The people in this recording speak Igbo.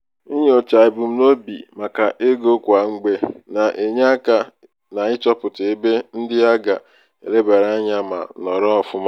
inyocha ebumnobi maka ego kwa mgbe na-enye aka n'ịchọpụta ebe ndị a ga-elebara anya ma nọrọ ọfụma.